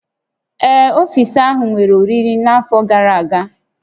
Ee, ọfiisi ahụ nwere oriri n'afọ gara aga